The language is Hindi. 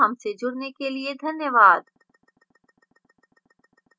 iit बॉम्बे से मैं जया आपसे विदा लेती हूं हमसे जुडने के लिए धन्यवाद